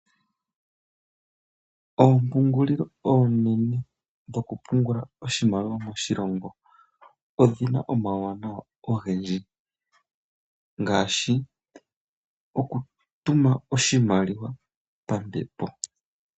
Oompungulilo oonene dhokupungula oshimaliwa moshilongo odhina omauwanawa ogendji ngaashi okutuma oshimaliwa pambepo.